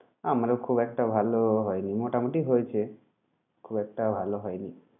আমারও খুব একটা ভাল হয়নি মোটামুটি হয়েছে খুব একটা ভাল হয়নি।